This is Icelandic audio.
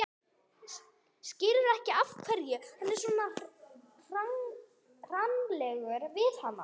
Skilur ekki af hverju hann var svona hranalegur við hana.